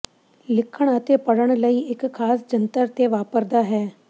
ਲਿਖਣ ਅਤੇ ਪੜ੍ਹਨ ਲਈ ਇੱਕ ਖਾਸ ਜੰਤਰ ਤੇ ਵਾਪਰਦਾ ਹੈ